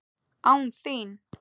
Án þín!